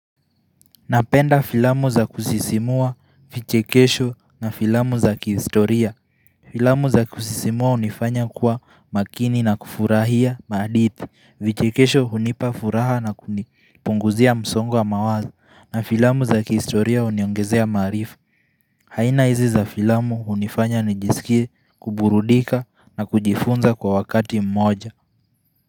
Napenda filamu za kusisimua vichekesho na filamu za kihistoria Filamu za kusisimua unifanya kuwa makini na kufurahia maadithi vichekesho unipa furaha na kunipunguzia msongo wa mawazo na filamu za kihistoria uniongezea maarifa haina hizi za filamu unifanya nijisikie kuburudika na kujifunza kwa wakati mmoja.